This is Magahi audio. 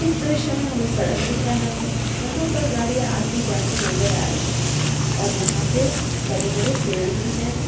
इस दृश्य में हमें सड़क दिख रहा है। यहां पर गाड़ियां आती-जाती नजर आ रही हैं। और यहां पे बड़े-बड़े पेड़ भी हैं।